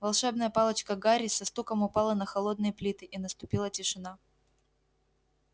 волшебная палочка гарри со стуком упала на холодные плиты и наступила тишина